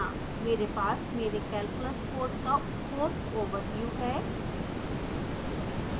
मेरे पास मेरे calculus course का course overview है